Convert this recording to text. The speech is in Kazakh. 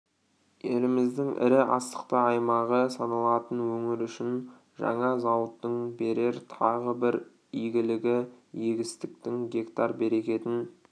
еліміздің ірі астықты аймағы саналатын өңір үшін жаңа зауыттың берер тағы бір игілігі егістіктің гектар берекетін